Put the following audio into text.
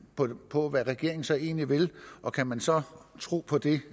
på på hvad regeringen så egentlig vil og kan man så tro på det